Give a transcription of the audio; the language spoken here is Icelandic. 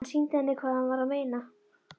Hann sýndi henni hvað hann var að meina.